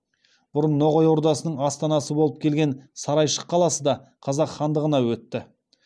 бұрын ноғай ордасының астанасы болып келген сарайшық қаласы да қазақ хандығына өтті